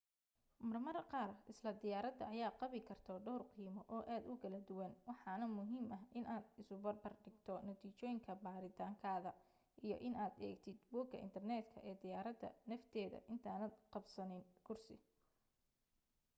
marmar qaar isla diyaaradda ayaa qabi karto dhawr qiimo oo aad u kala duwan waxaana muhiim ah inaad isubarbar dhigto natiijooyinka baaritaankaada iyo inaad eegtid bogga internetka ee diyaaradda nafteeda intaadan qabsanin kursi